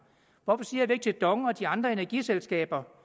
hvorfor siger vi ikke til dong og de andre energiselskaber